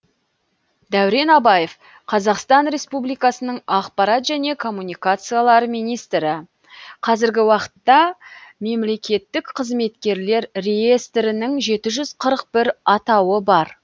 дәурен абаев қазақстан республикасының ақпарат және коммуникациялар министрі қазіргі уақытта мемлекеттік қызметкерлер реестрінің жеті жүз қырық бір атауы бар